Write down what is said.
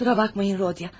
Üzr istəyirəm, Rodya.